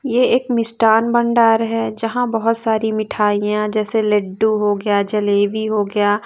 यह एक मिष्टान भंडार है यहाँ बहुत सारी मिठाइयां जैसे लड्डू हो गया जलेबी हो गया।